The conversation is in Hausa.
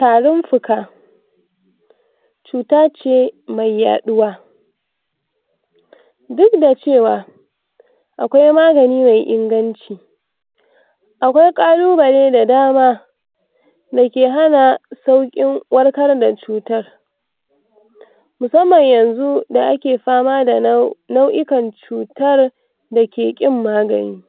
tarin fuka cutace cutace mai yaɗuwa duk da cewa akwai magani me inganci akwai ƙalubale da dama dake hana saukin warkar da cutar musamman yanzu da ake fama da nau[um] nau'ikan cutar dake ƙin magani